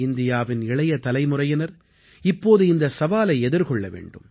இந்தியாவின் இளைய தலைமுறையினர் இப்போது இந்தச் சவாலை எதிர்கொள்ள வேண்டும்